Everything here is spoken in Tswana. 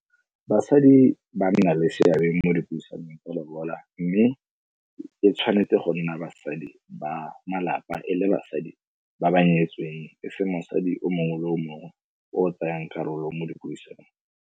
Basadi ba nna le seabe mo dipuisanong tsa lobola mme e tshwanetse go nna basadi ba malapa, e le basadi ba ba nyetsweng e se mosadi o mongwe le o mongwe o tsayang karolo mo dipuisanong.